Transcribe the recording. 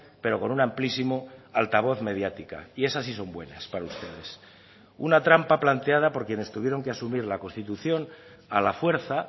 pero con un amplísimo altavoz mediática y esas sí son buenas para ustedes una trampa planteada por quienes tuvieron que asumir la constitución a la fuerza